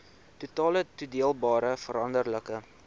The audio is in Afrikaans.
totale toedeelbare veranderlike